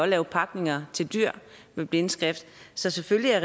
lave pakninger til dyr med blindskrift så selvfølgelig er